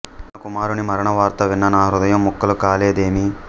నా కుమారుని మరణ వార్త విన్న నా హృదయం ముక్కలు కాలేదేమి